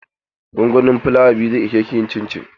Gongonin flawa biyu zai ishe ki yin cincin?